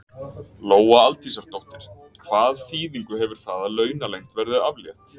Lóa Aldísardóttir: Hvað þýðingu hefur það að launaleynd verði aflétt?